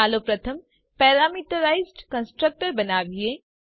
ચાલો પ્રથમ parameterised constructor બનાવીએ